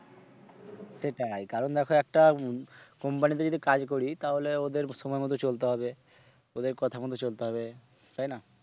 সেটাই কারণ দেখো একটা company তে যদি কাজ করি তাহলে ওদের সময় মত চলতে হবে ওদের কথা মত চলতে হবে, তাই না?